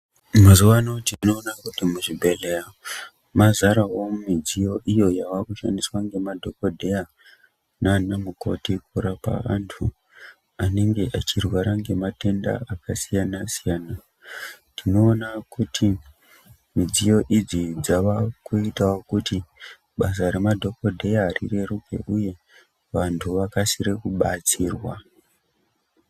Mazuwano tinoona kuti muzvibhedhlera mazarawo midziyo iyo yavakushandiswa ngemadhokodheya nana mukoti kurapa vantu anenge echirwara nematenda akasiyana siyana tinoona kuti midziyo idzi dzavakuitawo kuti basa remadhokodheya rireruke uye vantu vakasire kubtsirwa.